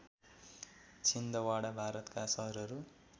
छिन्दवाडा भारतका सहरहरू